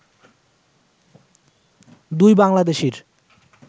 দুই বাংলাদেশীর